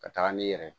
Ka taga n'i yɛrɛ ye